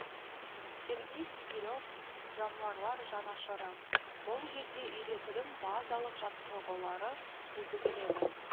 сергей снегире в жануарлар жанашыры бұл жерде үйретудің базалық жаттығулары жүргізіледі